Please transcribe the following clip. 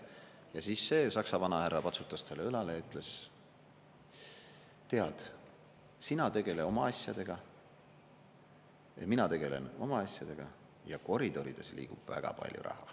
Ja siis see Saksa vanahärra patsutas talle õlale ja ütles: tead, sina tegele oma asjadega ja mina tegelen oma asjadega, ja koridorides liigub väga palju raha.